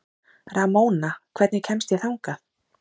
Ramóna, hvernig kemst ég þangað?